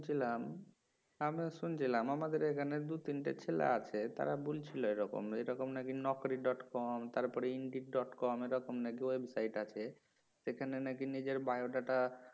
শুনছিলাম আমিও শুনছিলাম আমাদের এখানে দুই তিনটা ছেলে আছে তারা বলছিল এরকম এইরকম নাকি নকরি ডট কম তারপরে ইন্ডিড ডট কম এরকম নাকি ওয়েবসাইট আছে সেখানে নাকি নিজের বায়ো ডাটা